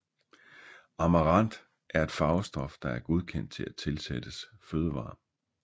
Amaranth er et farvestof der er godkendt til at tilsættes fødevarer